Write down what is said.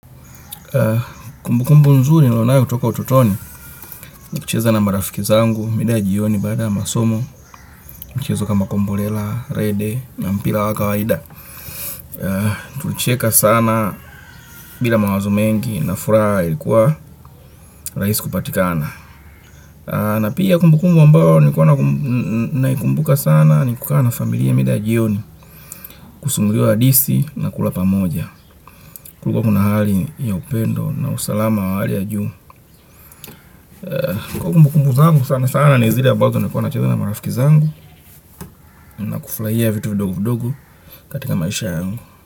Kumbukumbu nzuri niliyonayo kutoka utotoni ni kucheza na marafiki zangu mida jioni baada masomo. Michezo kama kombolela, rede na mpira wa kawaida. Tulicheka sana. Bila mawazo mengi na furaha ilikuwa rahisi kupatikana. Na pia kumbu kumbu ambayo nilikuwa naikumbuka sana ni kukaa na familia mida ya jioni. Kusimuliwa hadithi na kula pamoja. Kulikuwa kuna hali ya upendo na usalama wa hali ya juu. Kumbu kumbu zangu sana sana ni zile ambazo nilikuwa nacheza na marafiki zangu. Na kufurahia vitu vidogo vidogo katika maisha yangu.